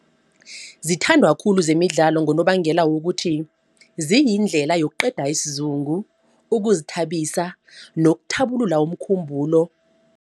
Zithandwa khulu zemidlalo ngonobangela wokuthi ziyindlela yokuqeda isizungu, ukuzithabisa nokuthabulula umkhumbulo.